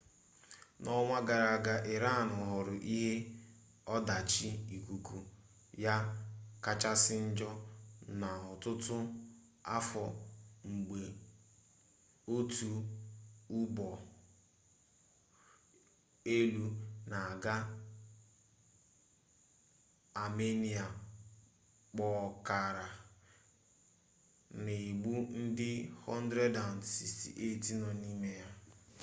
n'ọnwa gara aga iran hụrụ ihe ọdachi ikuku ya kachasị njọ n'ọtụtụ afọ mgbe otu ụgbọ elu na-aga amenịa kpọkara na-egbu ndị 168 nọ n'ime ya